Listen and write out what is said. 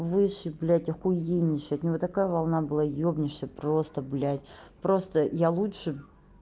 выше блядь охуеннейший от него такая волна была ёбнешься просто блядь просто я лучше